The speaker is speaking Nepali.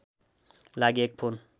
लागि एक फोन